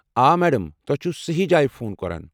آ، میڑم! تۄہہ چھو صحیٖح جایہِ فون کران۔